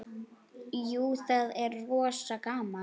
Jú, það er rosa gaman.